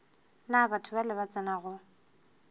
na batho bale ba tsenago